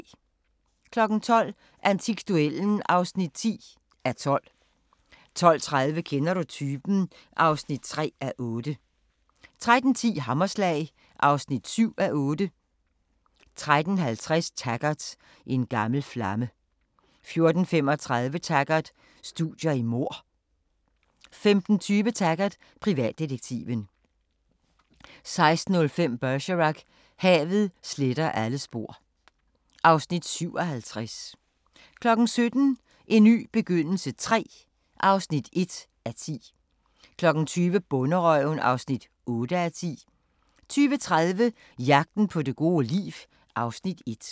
12:00: Antikduellen (10:12) 12:30: Kender du typen? (3:8) 13:10: Hammerslag (7:8) 13:50: Taggart: En gammel flamme 14:35: Taggart: Studier i mord 15:20: Taggart: Privatdetektiven 16:05: Bergerac: Havet sletter alle spor (Afs. 57) 17:00: En ny begyndelse III (1:10) 20:00: Bonderøven (8:10) 20:30: Jagten på det gode liv (Afs. 1)